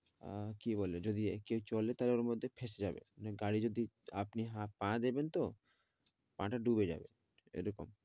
আহ কি বলে যদি কেউ চলে তো ওর মধ্যে ফেসে যাবে। মানে গাড়ে যদি আপনি পা দেবেন তো, পা টা ডুবে যাবে এরকম।